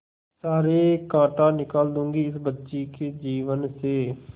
सारे कांटा निकाल दूंगी इस बच्ची के जीवन से